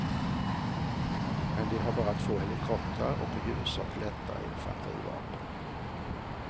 Men de har bara två helikoptrar och i huvudsak lättare infanterivapen.